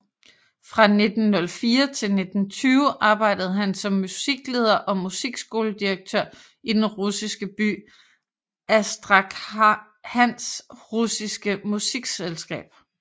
Fra 1904 til 1920 arbejdede han som musikleder og musikskoledirektør i den russiske by Astrakhans russiske musikselskab